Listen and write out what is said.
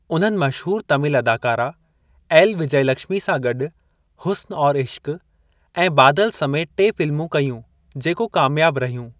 उन्हनि मशहूर तमिल अदाकारा एल. विजयलक्ष्मी सां गॾु हुस्न और इश्क ऐं बादल समेति टे फ़िल्मूं कयूं, जेको कामयाब रहियूं।